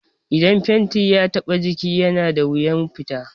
Idan fenti ya taɓa jiki yana da wuyan fita